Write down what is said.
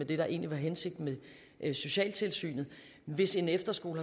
det der egentlig var hensigten med socialtilsynet hvis en efterskole